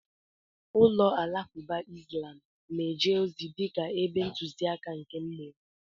Ụlọ alakụba islam na-eje ozi dịka ebe ntụzịaka nke mmụọ.